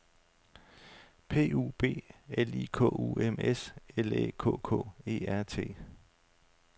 P U B L I K U M S L Æ K K E R T